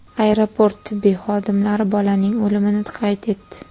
Aeroport tibbiy xodimlari bolaning o‘limini qayd etdi.